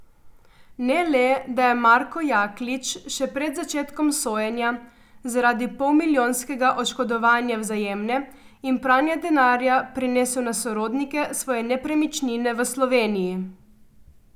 Ne le da je Marko Jaklič še pred začetkom sojenja zaradi polmilijonskega oškodovanja Vzajemne in pranja denarja prenesel na sorodnike svoje nepremičnine v Sloveniji.